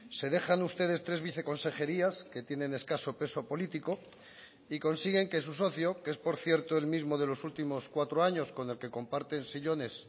se dejan ustedes tres viceconsejerías que tienen escaso peso político y consiguen que su socio que es por cierto el mismo de los últimos cuatro años con el que comparten sillones